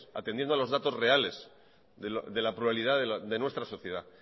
atendiendo a los datos reales de la pluralidad de nuestra sociedad